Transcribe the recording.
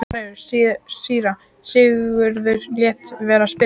Síra Sigurður lét vera að spyrja.